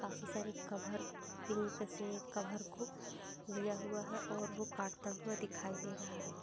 काफ़ी सारे cover pink से कभर को लिया हुआ है और वो काटता हुआ दिखाई दे रहा --